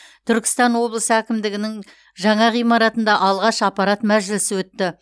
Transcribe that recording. түркістан облысы әкімдігінің жаңа ғимаратында алғаш аппарат мәжілісі өтті